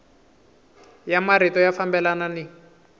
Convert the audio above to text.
ya marito ya fambelana ni